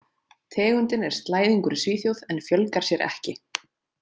Tegundin er slæðingur í Svíþjóð, en fjölgar sér ekki.